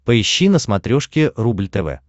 поищи на смотрешке рубль тв